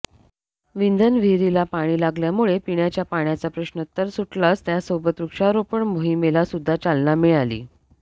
विंधन विहिरीला पाणी लागल्यामुळे पिण्याचा पाण्याचा प्रश्नतर सुटलाच त्यासोबत वृक्षारोपण मोहिमेला सुध्दा चालना मिळाली